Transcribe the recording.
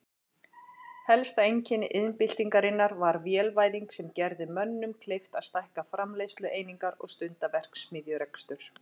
Helsta einkenni iðnbyltingarinnar var vélvæðing sem gerði mönnum kleift að stækka framleiðslueiningar og stunda verksmiðjurekstur.